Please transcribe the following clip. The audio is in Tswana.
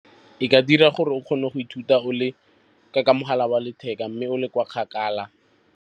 E ka dira gore o kgone go ithuta ka mogala wa letheka mme o le kwa kgakala.